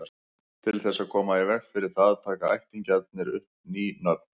Til þess að koma í veg fyrir það taka ættingjarnir upp ný nöfn.